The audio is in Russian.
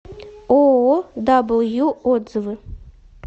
ооо дабл ю отзывы